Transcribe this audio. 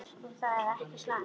Og það er ekki slæmt.